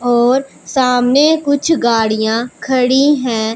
और सामने कुछ गाड़ियां खड़ी है।